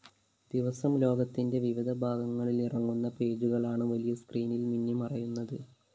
ദിവസം ലോകത്തിന്റെ വിവിധഭാഗങ്ങളിലിറങ്ങുന്ന പേജുകളാണ് വലിയ സ്‌ക്രീനില്‍ മിന്നിമറയുന്നത്